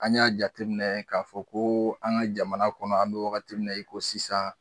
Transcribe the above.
An y'a jateminɛ k'a fɔ ko an ka jamana kɔnɔ an don wagati min na i ko sisan